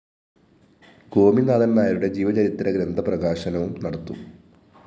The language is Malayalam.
ഗോപിനാഥന്‍നായരുടെ ജീവചരിത്രഗ്രന്ഥ പ്രകാശനവും നടത്തും